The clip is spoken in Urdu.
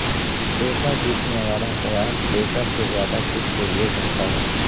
پیسہ جیتنے والا خیال پیسہ سے زیادہ کچھ کے لئے چاہتا ہے